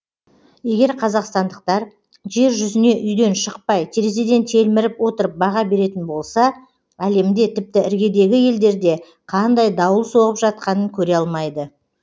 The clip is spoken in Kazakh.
егер қазақстандықтар жер жүзіне үйден шықпай терезеден телміріп отырып баға беретін болса әлемде тіпті іргедегі елдерде қандай дауыл соғып жатқанын көре алмайды